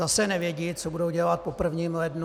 Zase nevědí, co budou dělat po prvním lednu.